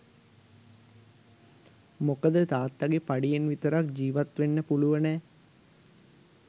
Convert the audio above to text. මොකද තාත්තගෙ පඩියෙන් විතරක් ජිවත් වෙන්න පුළුවනෑ.